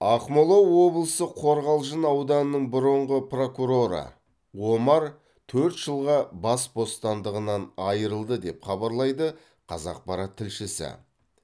ақмола облысы қорғалжың ауданының бұрынғы прокуроры омар төрт жылға бас бостандығынан айырылды деп хабарлайды қазақпарат тілшісі